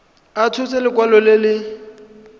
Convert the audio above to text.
a tshotse lekwalo le le